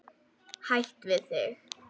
Hætt við þig.